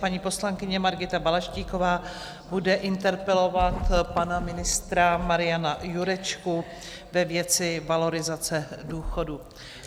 Paní poslankyně Margita Balaštíková bude interpelovat pana ministra Mariana Jurečku ve věci valorizace důchodů.